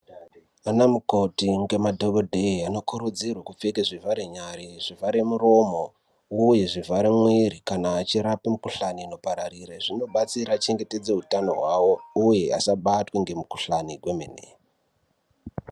Ana mukoti nemadhokodheya anokurudzirwa kupfeka zvivhare nyara zvivhare muromo uye zvivhare mwiri kana achirapa mikuhlani inopararira zvinobatsira achengetedze hutano hwavo uye asabatwa nemikuhlani kwemene.